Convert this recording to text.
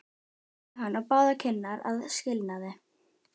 Hún kyssti hann á báðar kinnar að skilnaði.